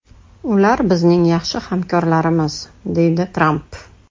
Ular bizning yaxshi hamkorlarimiz”, deydi Tramp.